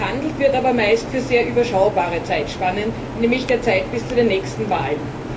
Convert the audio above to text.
Gehandelt wird aber meist für sehr überschaubare Zeitspannen, nämlich der Zeit bis zu den nächsten Wahlen.